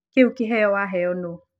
Kĩũ kĩheo waheo nũ?